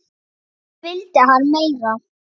Hvað vildi hann meira?